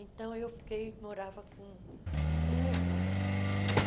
Então eu fiquei, morava com com uma irmã.